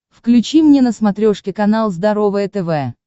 включи мне на смотрешке канал здоровое тв